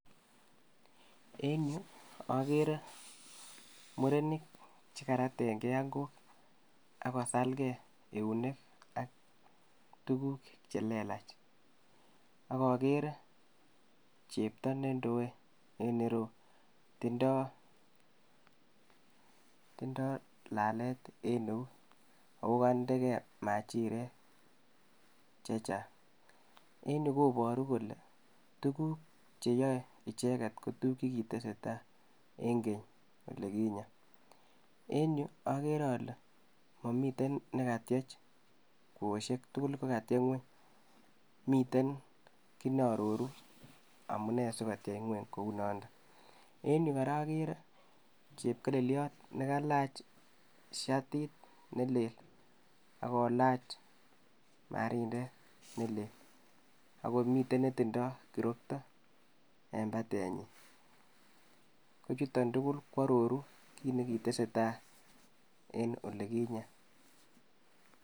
En yuu okere murenik chekaraten gee ankok ak kasal gee eunek ak tukuk chelelach, ak okere chepto nendoe en ireyuu tindo lalet en eut okonde gee machiret chechang. En yuuu koboru kole tukuk cheyoe icheket ko tukuk chekitesetsi en geny oilikinye en yuu okere ole momiten nekatyech kwosiek tukuk ko katyech ngwueny, miten kit neororu amune sikotyech ngueny kou noton en yuu koraa okere chekelelyot nekalach shatit nelel akolach marindet nelel akomiten netindo kirokto en patenyin ko chuton tuktuk kwororu kit nekitesetai en olikinye.